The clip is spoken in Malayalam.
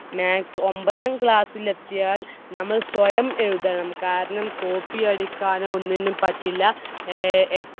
maths ഒമ്പതാം class ൽ എത്തിയാൽ നമ്മൾ സ്വയം എഴുതണം. കാരണം copy അടിക്കാനൊന്നും പറ്റില്ല.